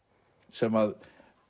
sem